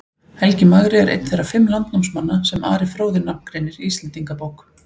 Helgi magri er einn þeirra fimm landnámsmanna sem Ari fróði nafngreinir í Íslendingabók.